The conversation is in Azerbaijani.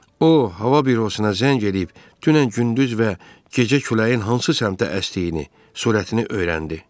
O hava bürosuna zəng eləyib dünən gündüz və gecə küləyin hansı səmtə əsdiyini, sürətini öyrəndi.